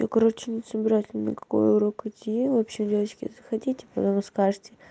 я короче не собираюсь ни на какой урок идти в общем девочки захотите потом скажете